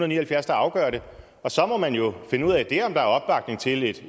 ni og halvfjerds der afgør det og så må man jo finde ud af om der er opbakning til et